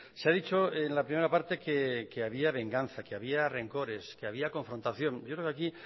se ha dicho en la primera parte que había venganza que había rencores que había confrontación yo creo que aquí